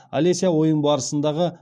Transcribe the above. алеся ойын барысындағы